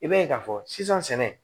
I b'a ye k'a fɔ sisan sɛnɛ